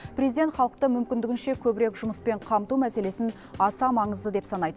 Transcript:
президент халықты мүмкіндігінше көбірек жұмыспен қамту мәселесін аса маңызды деп санайды